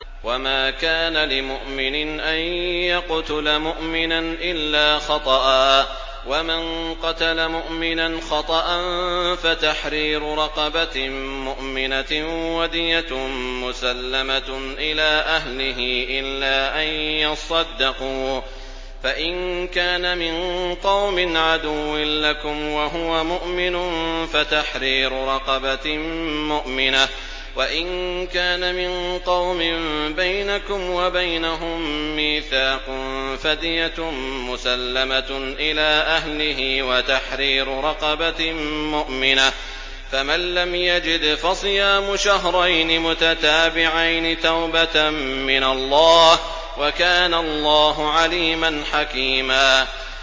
وَمَا كَانَ لِمُؤْمِنٍ أَن يَقْتُلَ مُؤْمِنًا إِلَّا خَطَأً ۚ وَمَن قَتَلَ مُؤْمِنًا خَطَأً فَتَحْرِيرُ رَقَبَةٍ مُّؤْمِنَةٍ وَدِيَةٌ مُّسَلَّمَةٌ إِلَىٰ أَهْلِهِ إِلَّا أَن يَصَّدَّقُوا ۚ فَإِن كَانَ مِن قَوْمٍ عَدُوٍّ لَّكُمْ وَهُوَ مُؤْمِنٌ فَتَحْرِيرُ رَقَبَةٍ مُّؤْمِنَةٍ ۖ وَإِن كَانَ مِن قَوْمٍ بَيْنَكُمْ وَبَيْنَهُم مِّيثَاقٌ فَدِيَةٌ مُّسَلَّمَةٌ إِلَىٰ أَهْلِهِ وَتَحْرِيرُ رَقَبَةٍ مُّؤْمِنَةٍ ۖ فَمَن لَّمْ يَجِدْ فَصِيَامُ شَهْرَيْنِ مُتَتَابِعَيْنِ تَوْبَةً مِّنَ اللَّهِ ۗ وَكَانَ اللَّهُ عَلِيمًا حَكِيمًا